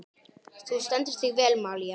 Þú stendur þig vel, Malía!